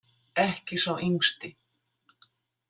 Ekki sá yngsti.